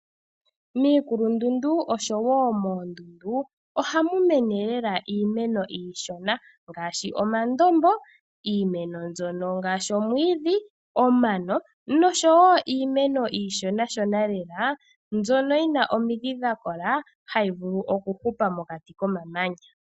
Miikulundundu osho wo moondundu ohamu mene lela iimeno iishona ngaashi omandombo, iimeno mbyono ngaashi omwiidhi , omano nosho wo iimeno iishonashonalela mbyono yi na omidhi dha kola hayi vulu okuhupa mokati komamanya.